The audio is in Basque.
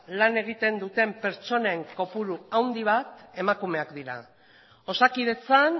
lan egiten duten pertsonen kopuru handi bat emakumeak dira osakidetzan